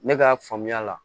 Ne ka faamuya la